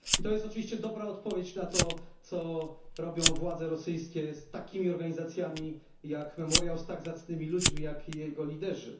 To jest oczywiście dobra odpowiedź na to, co robią władze rosyjskie z takimi organizacjami, jak Memoriał, z tak zacnymi ludźmi, jak jego liderzy.